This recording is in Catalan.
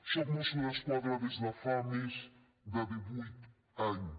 soc mosso d’esquadra des de fa més de divuit anys